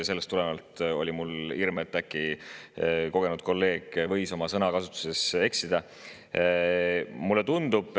Sellest tulenevalt oli mul hirm, et kogenud kolleeg võis äkki sõnakasutuses eksida.